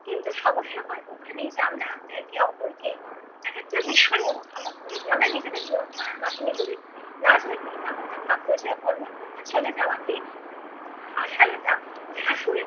কিন্তু সমস্যা হয় ওখানেই যে আমরা একে অপরকে একেকটা বিষয় অনুধাবন করি আমরা নিজেদের মন গড়া কাহিনী গড়ি। রাজলক্ষী যেমনটা ভাবলো যে অন্নপূর্ণা চলে যাওয়াতে আশালতা শাশুড়ির